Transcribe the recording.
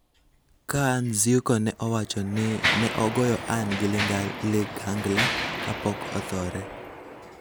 ka Nzyuko ne owacho ni ne ogoyo Ann gi ligangla kapok othore.